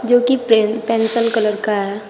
जो कि pen pencil colour का है।